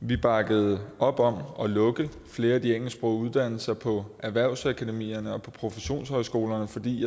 vi bakkede op om at lukke flere af de engelsksprogede uddannelser på erhvervsakademierne og på professionshøjskolerne fordi